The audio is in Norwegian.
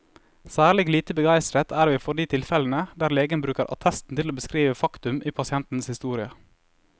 Særlig lite begeistret er vi for de tilfellene der legen bruker attesten til å beskrive faktum i pasientens historie.